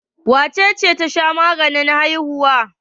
Wace ce ta sha maganin haihuwa?